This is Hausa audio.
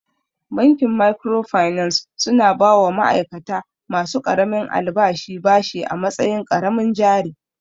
Bankin microfinance su na ba wa ma'aikata ma su ƙaramin albashi bashi a matsayin ƙaramin jari